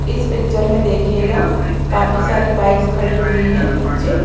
इस पिक्चर में देखिएगा काफी सारी बाइक्स खड़ी हुई है नीचे।